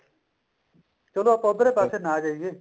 ਚਲੋ ਆਪਾਂ ਉੱਧਰਲੇ ਪਾਸੇ ਨਾ ਜਾਈਏ